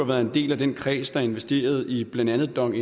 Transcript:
været en del af den kreds der investerede i blandt andet dong